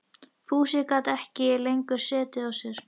Fúsi gat ekki lengur setið á sér.